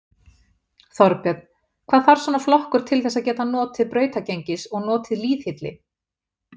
Þorbjörn: Hvað þarf svona flokkur til þess að geta notið brautargengis og notið lýðhylli?